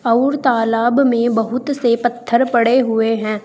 और तालाब में बहुत से पत्थर पड़े हुए हैं।